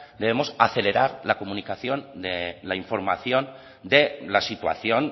debemos acelerar la comunicación de la información de la situación